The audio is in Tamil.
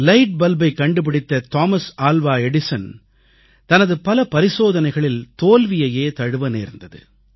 லைட் பல்பைக் கண்டுபிடித்த தாமஸ் ஆல்வா எடிசன் தனது பல பரிசோதனைகளில் தோல்வியையே தழுவ நேர்ந்தது